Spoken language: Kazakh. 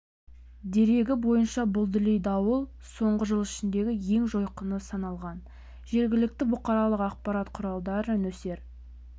дерегі бойынша бұл дүлей дауыл соңғы жыл ішіндегі ең жойқыны саналған жергілікті бұқаралық ақпарат құралдары нөсер